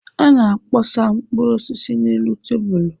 A na-akpọsa mkpụrụ osisi n'elu tebụl.